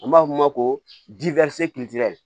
An b'a f'o ma ko